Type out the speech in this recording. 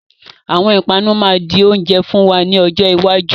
Àwọn ìpanu máa di oúnjẹ fún wa ní ọjọ́ iwájú.